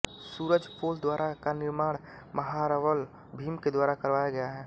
सूरजपोल द्वारा का निर्माण महारावल भीम के द्वारा करवाया गया है